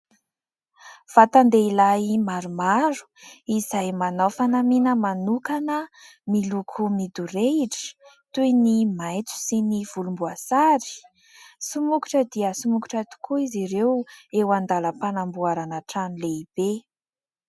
Vatan-dehilahy maromaro izay manao fanamiana manokana, miloko midorehitra toy ny maitso sy ny volomboasary. Somokotra dia somokotra tokoa izy ireo eo an-dalam-panamboarana trano lehibe.